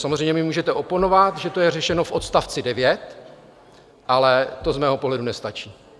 Samozřejmě mi můžete oponovat, že to je řešeno v odst. 9, ale to z mého pohledu nestačí.